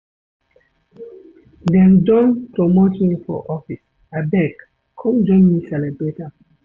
Dem don promote me for office, abeg come join me celebrate am.